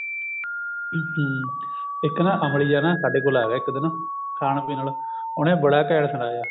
ਇੱਕ ਨਾ ਅਮਲੀ ਜਾ ਸਾਡੇ ਕੋਲ ਆ ਗਿਆ ਇੱਕ ਦਿਨ ਖਾਨ ਪੀਣ ਆਲਾ ਉਹਨੇ ਬੜਾ ਘੈਂਟ ਸੁਣਾਇਆ